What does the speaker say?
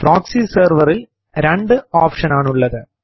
proxy സെർവറിൽ രണ്ട് options ആണുള്ളത്